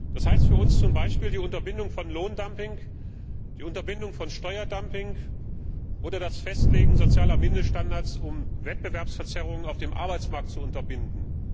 Das heißt für uns zum Beispiel die Unterbindung von Lohndumping, von Steuerdumping oder das Festlegen sozialer Mindeststandards, um Wettbewerbsverzerrungen auf dem Arbeitsmarkt zu unterbinden.